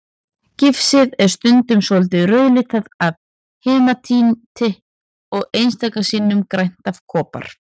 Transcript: Gifsið er stundum svolítið rauðlitað af hematíti og einstaka sinnum grænt af kopar.